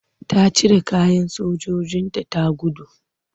Ta cire kayan sojojinta ta gudu.